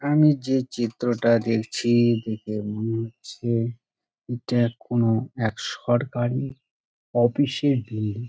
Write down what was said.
আমি যে চিত্রটা দেখছি-ই দেখে মনে হচ্ছে এটা কোন এক সরকারি অফিস -এর বিল্ডিং--